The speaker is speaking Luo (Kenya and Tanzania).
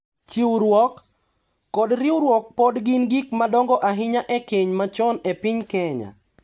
Chiwruok, kod riwruok pod gin gik madongo ahinya e keny machon e piny Kenya.